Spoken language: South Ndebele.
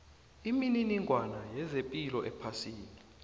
imininingwana yezepilo ephasini